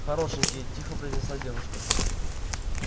хорошенький тихо произнесла девушка